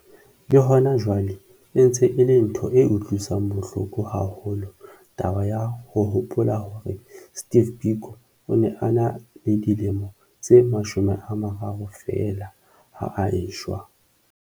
Le hona jwale e ntse e le ntho e utlwisang bohloko haholo taba ya ho hopola hore Steve Biko o ne a ena le dilemo tse 30 feela ha a eshwa.